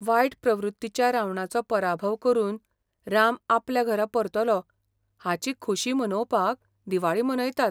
वायट प्रवृत्तीच्या रावणाचो पराभव करून राम आपल्या घरा परतलो हाची खोशी मनोवपाक दिवाळी मनयतात.